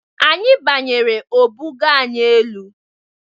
Anyị banyere o bugoo anyị elu.